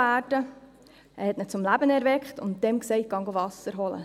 er erweckte ihn zum Leben und sagte ihm: «Geh Wasser holen.